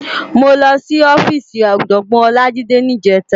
Mó lòsí òfisí Òjògbòn Olajide nijètá